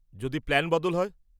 যদি প্ল্যান বদল হয়?